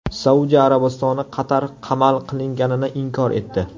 Saudiya Arabistoni Qatar qamal qilinganini inkor etdi.